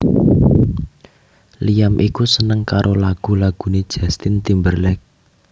Liam iku seneng karo lagu lagune Justin Timberlake